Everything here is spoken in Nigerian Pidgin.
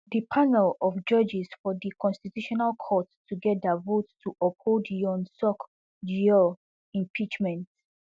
di panel of judges for di constitutional court togeda vote to uphold yoon suk yeol impeachment